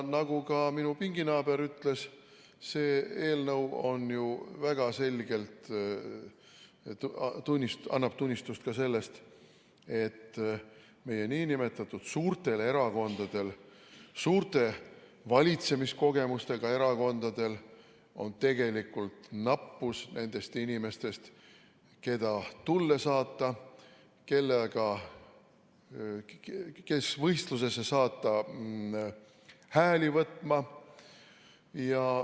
Nagu ka minu pinginaaber ütles, see eelnõu annab ju väga selgelt tunnistust sellest, et meie nn suurtel erakondadel, suurte valitsemiskogemustega erakondadel on tegelikult nappus nendest inimestest, keda tulle saata, keda saata võistlusesse hääli võtma.